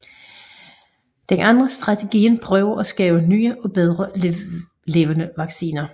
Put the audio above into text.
Den anden strategi prøver at skaber nye og bedre levende vacciner